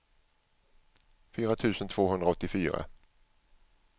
fyra tusen tvåhundraåttiofyra